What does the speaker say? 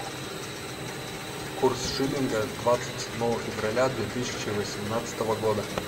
курс шиллинга двадцать седьмого февраля две тысячи восемнадцатого года